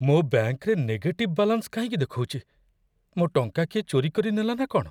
ମୋ ବ୍ୟାଙ୍କ୍‌ରେ negative balance କାହିଁକି ଦେଖଉଚି? ମୋ ଟଙ୍କା କିଏ ଚୋରି କରିନେଲା ନା କ'ଣ?